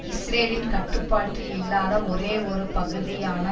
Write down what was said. இஸ்ரேலின் கட்டுப்பாட்டில் இல்லாத ஒரேயொரு பகுதியான